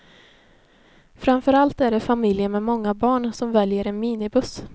Framför allt är det familjer med många barn som väljer en minibuss.